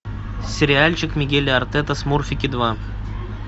сериальчик мигеля артета смурфики два